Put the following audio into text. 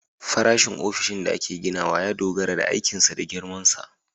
Farashin ofishin da ake ginawa ya dogara da aikinsa da girmansa